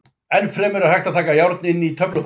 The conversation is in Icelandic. Enn fremur er hægt að taka járn inn á töfluformi.